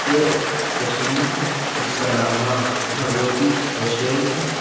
यह एक रेस्टोरेंट है जिसका नाम मां भगवती रेस्टोरेंट है।